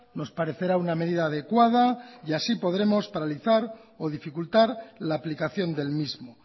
nos parecerá una medida adecuada y así podremos paralizar o dificultar la aplicación del mismo